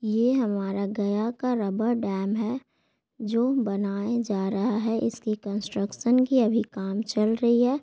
ये हमारा गया का रबर डैम है जो बनाया जा रहा है इसकी कंस्ट्रक्सन की अभी काम चल रही है।